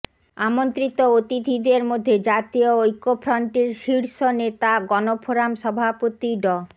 আমন্ত্রিত অতিথিদের মধ্যে জাতীয় ঐক্যফ্রন্টের শীর্ষ নেতা গণফোরাম সভাপতি ড